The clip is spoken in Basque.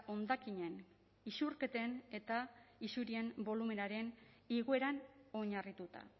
hondakinen isurketen eta isurien bolumenaren igoeran oinarrituta